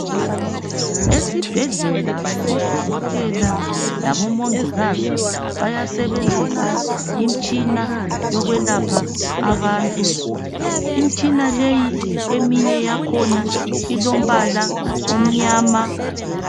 Esibhedlela odokotela labomongikazi bayasebenzisa imitshina yokwelapha abantu. Imitshina leyi eminye yakhona ilombala omnyama.